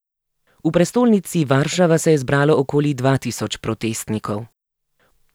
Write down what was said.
V prestolnici Varšava se je zbralo okoli dva tisoč protestnikov.